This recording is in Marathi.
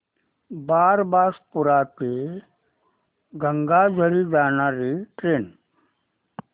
बारबासपुरा ते गंगाझरी जाणारी ट्रेन